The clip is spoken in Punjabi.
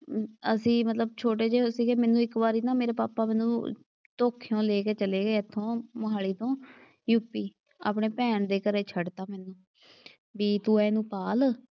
ਅਸੀਂ ਮਤਲਬ ਛੋਟੇ ਜਿਹੇ ਸੀਗੇ ਮੈਨੂੰ ਇੱਕ ਵਾਰੀ ਨਾ ਮੇਰੇ ਪਾਪਾ ਮੈਨੂੰ ਧੋਥੀਓਂ ਲੈ ਕੇ ਚਲੇ ਇੱਥੋਂ ਮੋਹਾਲੀ ਤੋਂ ਯੂ ਪੀ। ਆਪਣੇ ਭੈਣ ਦੇ ਘਰੇ ਛੱਡ ਤਾ ਮੈਨੂੰ, ਬਈ ਤੂੰ ਇਹਨੂੰ ਪਾਲ਼।